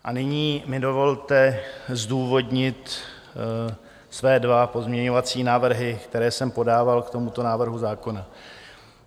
A nyní mi dovolte zdůvodnit své dva pozměňovací návrhy, které jsem podával k tomuto návrhu zákona.